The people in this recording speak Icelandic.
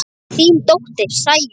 Þín dóttir, Sæunn.